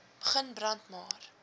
begin brand maar